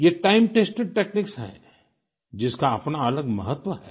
ये time tested techniques हैं जिसका अपना अलग महत्व है